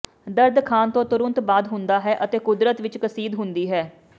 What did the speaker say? ਦਰਦ ਖਾਣ ਤੋਂ ਤੁਰੰਤ ਬਾਅਦ ਹੁੰਦਾ ਹੈ ਅਤੇ ਕੁਦਰਤ ਵਿਚ ਕਸੀਦ ਹੁੰਦੀ ਹੈ